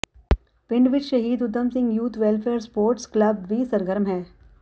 ਪਿੰਡ ਵਿੱਚ ਸ਼ਹੀਦ Udham Singh youth welfare sports club ਵੀ ਸਰਗਰਮ ਹੈ